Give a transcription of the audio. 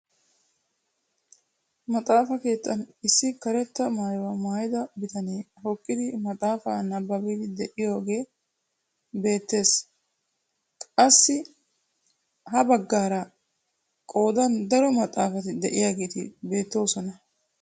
Maxaafa keettan issi karetta maayuwaa maayida bitanee hokkidi maxaafaa nababiidi de'iyaagee beettees. qassi ha baggaaraka qoodan daro maxaafati de'iyaageti beettoosona.